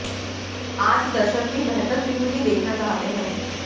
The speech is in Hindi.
आज दर्शक भी बेहतर फिल्म ही देखना चाहते हैं